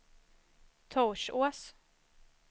Torsås